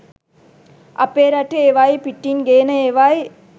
අපේ රටේ ඒවායි පිටින් ගේන ඒවායි